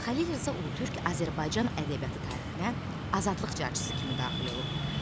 Xəlil Rza Ulutürk Azərbaycan ədəbiyyatı tarixinə azadlıq carçısı kimi daxil olub.